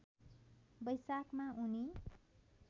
वैशाखमा उनी